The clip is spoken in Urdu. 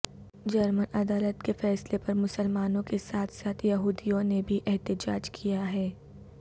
جرمن عدالت کے فیصلے پر مسلمانوں کے ساتھ ساتھ یہودیوں نے بھی احتجاج کیا ہے